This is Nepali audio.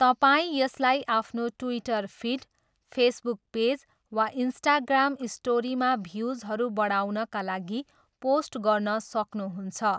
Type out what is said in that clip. तपाईँ यसलाई आफ्नो ट्विटर फिड, फेसबुक पेज, वा इन्स्टाग्राम स्टोरीमा भ्युजहरू बढाउनका लागि पोस्ट गर्न सक्नुहुन्छ।